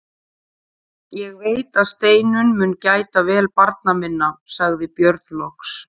Ég veit að Steinunn mun gæta vel barna minna, sagði Björn loks.